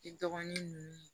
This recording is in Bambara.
I dɔgɔnin nunnu